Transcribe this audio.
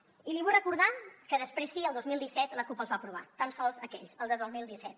i li vull recordar que després sí el dos mil disset la cup els va aprovar tan sols aquells els del dos mil disset